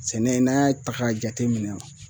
Sɛnɛ n'an y'a ta k'a jateminɛ